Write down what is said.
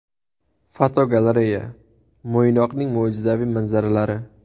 Fotogalereya: Mo‘ynoqning mo‘jizaviy manzaralari.